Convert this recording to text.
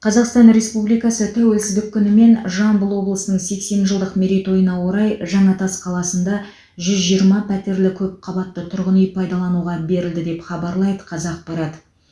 қазақстан республикасы тәуелсіздік күні мен жамбыл облысының сексен жылдық мерейтойына орай жаңатас қаласында жүз жиырма пәтерлі көпқабатты тұрғын үй пайдалануға берілді деп хабарлайды қазақпарат